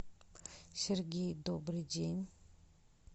сергей добрый день